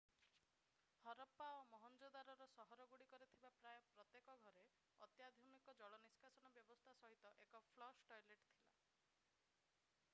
ହରପ୍ପା ଓ ମହେଞ୍ଜୋଦାରୋର ସହରଗୁଡ଼ିକରେ ଥିବା ପ୍ରାୟ ପ୍ରତ୍ୟେକ ଘରେ ଅତ୍ୟାଧୁନିକ ଜଳ ନିଷ୍କାସନ ବ୍ୟବସ୍ଥା ସହିତ ଏକ ଫ୍ଲଶ୍ ଟଏଲେଟ୍ ଥିଲା